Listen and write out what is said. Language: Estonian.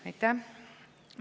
Aitäh!